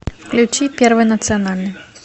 включи первый национальный